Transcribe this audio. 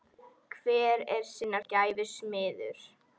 Hver er sinnar gæfu smiður